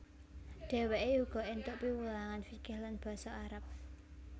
Dheweke uga entuk piwulangan fikih lan basa Arab